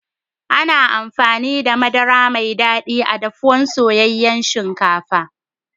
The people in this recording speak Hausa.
Ana amfani da Madara Mai dadi a'dafuwan soyayen shinkafa.